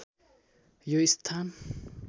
यो स्‍थान